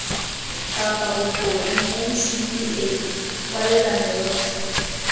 kapa bokone ncpa kwalelano yotlhe